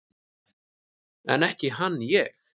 En ekki hann ég!